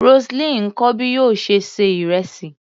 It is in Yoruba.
Roseline ń kọ́ bí yóò ṣe ṣe ìrẹsì.